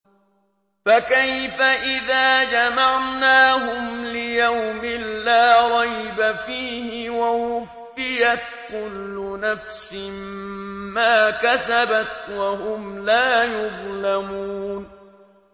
فَكَيْفَ إِذَا جَمَعْنَاهُمْ لِيَوْمٍ لَّا رَيْبَ فِيهِ وَوُفِّيَتْ كُلُّ نَفْسٍ مَّا كَسَبَتْ وَهُمْ لَا يُظْلَمُونَ